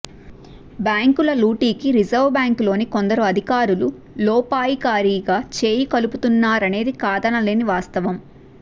బ్యాంకుల లూటీకి రిజర్వుబ్యాంకులోని కొందరు అధికారులు లోపాయికారిగా చేయి కలుపుతున్నారనేది కాదనలేని వాస్తవం